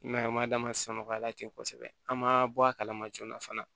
I m'a ye a m'a d'a ma samara ten kosɛbɛ an ma bɔ a kalama joona fana